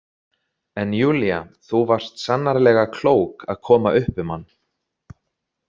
En Júlía, þú varst sannarlega klók að koma upp um hann.